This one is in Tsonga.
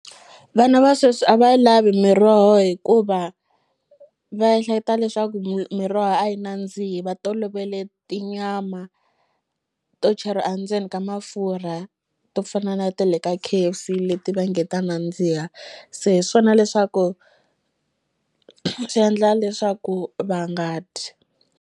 Vana va sweswi a va yi lavi miroho hikuva va ehleketa leswaku miroho a yi nandzihi va tolovele tinyama to a ndzeni ka mafurha to fana na tele ka K_F_C leti va nge ta nandziha se hi swona leswaku swi endla leswaku va nga dyi.